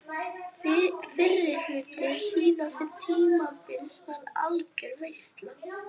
Fyrri hluti síðasta tímabils var algjör veisla.